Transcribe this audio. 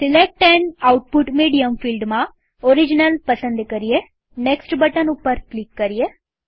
select an output medium ફિલ્ડમાં original પસંદ કરીએનેક્સ્ટ બટન ઉપર ક્લિક કરીએ